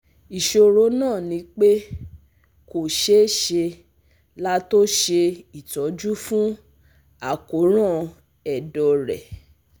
Isoro na nipe ko se se lato se itoju fun akoran edo re